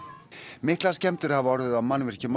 miklar skemmdir hafa orðið á mannvirkjum á